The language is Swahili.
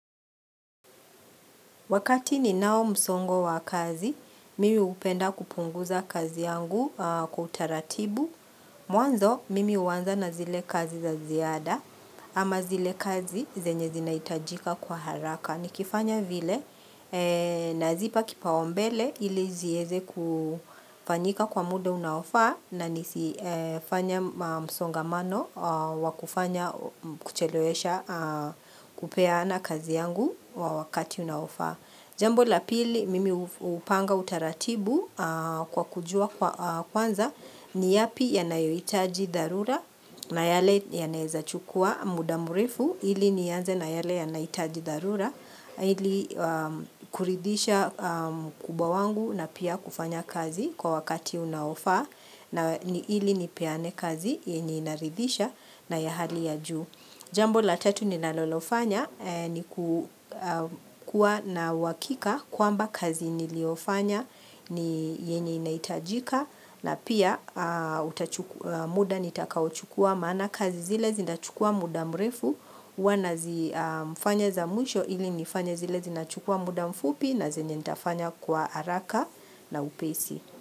Wakati ni nao msongo wa kazi, mimi hupenda kupunguza kazi yangu kwa utaratibu. Mwanzo, mimi huwanza na zile kazi za ziada, ama zile kazi zenye zinaitajika kwa haraka. Ni kifanya vile na zipa kipaumbele ili ziweze kufanyika kwa muda unaofaa na nisi fanye msongamano wakufanya kuchelewesha kupeaana kazi yangu wakati unaofaa. Jambo la pili mimi hupanga utaratibu kwa kujua kwanza ni yapi yanayohitaji dharura na yale yanaweza chukua muda mrefu ili nianze na yale yanahitaji dharura ili kuridhisha mkubwa wangu na pia kufanya kazi kwa wakati unaofaa na ili nipeane kazi yenye inaridhisha na ya hali ya juu. Jambo la tatu ninalolofanya ni kukua na uhakika kwamba kazi niliofanya ni yenye inahitajika na pia muda nitakaochukua maana kazi zile zinachukua muda mrefu huwa nazifanya za mwisho ili nifanye zile zinachukua muda mfupi na zenye nitafanya kwa haraka na upesi.